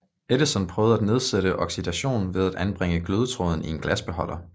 Edison prøvede at nedsætte oxidationen ved at anbringe glødetråden i en glasbeholder